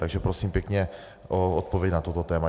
Takže prosím pěkně o odpověď na toto téma.